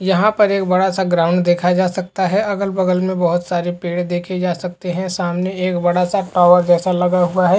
यहाँ पर एक बड़ा सा ग्राउंड देखा जा सकता है। अगल-बगल में बहोत सारे पेड़ देखे जा सकते हैं। सामने एक बड़ा सा टावर जैसा लगा हुआ है।